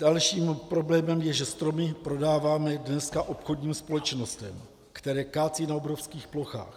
Dalším problémem je, že stromy prodáváme dneska obchodním společnostem, které kácejí na obrovských plochách.